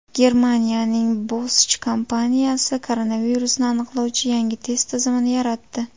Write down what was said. Germaniyaning Bosch kompaniyasi koronavirusni aniqlovchi yangi test tizimini yaratdi.